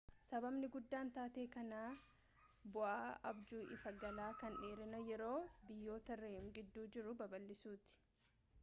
sababni guddaan taatee kanaa bu'aa abjuu ifa galaa kan dheerina yeroo biyyoota rem gidduu jiruu babal'isuuti